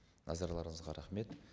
назарларыңызға рахмет